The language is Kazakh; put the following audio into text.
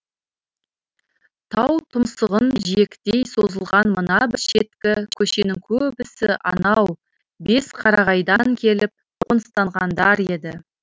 тау тұмсығын жиектей созылған мына бір шеткі көшенің көбісі анау бесқарағайдан келіп қоныстанғандар еді